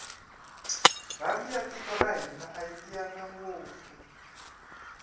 rhandi ya tiko ra hina ayi tiyanga ngopfu